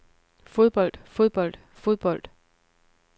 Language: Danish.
fodbold fodbold fodbold